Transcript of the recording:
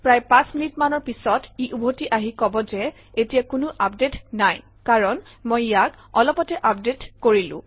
প্ৰায় পাঁচ মিনিটমানৰ পিছত ই উভতি আহি কব যে এতিয়া কোনো আপডেট নাই কাৰণ মই ইয়াক অলপতে আপডেট কৰিলো